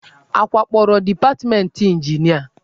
A wakporo departmentị ịnjinịa?